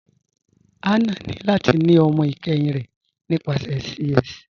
Hannah ni lati ni ọmọ ikẹhin rẹ nípasẹ CS.